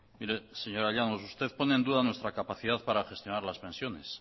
mire señora llanos usted pone en duda nuestra capacidad para gestionar las pensiones